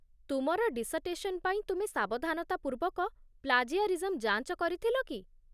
ତୁମର ଡିସର୍ଟେସନ୍ ପାଇଁ ତୁମେ ସାବଧାନତା ପୂର୍ବକ ପ୍ଳାଜିଆରିଜମ୍ ଯାଞ୍ଚ କରିଥିଲ କି?